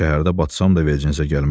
Şəhərdə batsam da vecinnizə gəlməz.